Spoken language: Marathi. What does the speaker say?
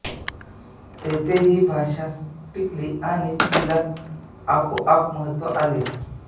तेथे ही भाषा टिकली आणि तिला आपोआप महत्त्व आले